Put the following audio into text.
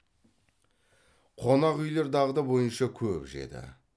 қонақ үйлер дағды бойынша көп жеді